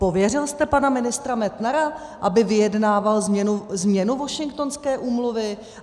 Pověřil jste pana ministra Metnara, aby vyjednával změnu Washingtonské úmluvy?